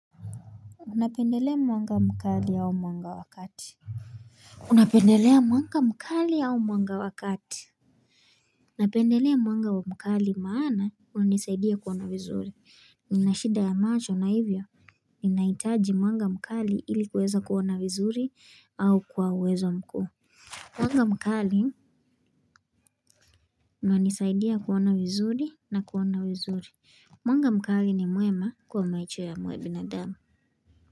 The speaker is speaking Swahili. Unapendelea mwanga mkali au mwanga wa kati? Unapendelea mwanga mkali au mwanga wa kati? Unapendelea mwanga wa mkali maana unanisaidia kuona vizuri. Ninashida ya macho na hivyo, ninahitaji mwanga mkali ili kuweza kuona vizuri au kwa uwezo mkuu. Mwanga mkali unanisaidia kuona vizuri na kuona vizuri. Mwanga mkali ni mwema kwa maisho ya binadamu.